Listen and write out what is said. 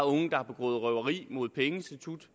unge der har begået røveri mod et pengeinstitut